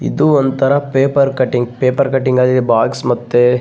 ಇದು ಒಂತರ paper cutting paper cutting ಅಲ್ಲಿ ಬೋಕ್ಸ್ ಮತ್ತೆ --